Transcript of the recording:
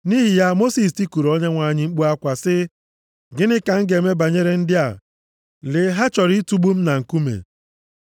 Nʼihi ya, Mosis tikuru Onyenwe anyị mkpu akwa sị, “Gịnị ka m ga-eme banyere ndị a. Lee, ha chọrọ itugbu m na nkume.”